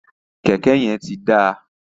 Kẹkẹ yẹn ti da.